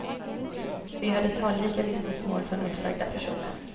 Vi hörde talrika vittnesmål från uppsagda personer.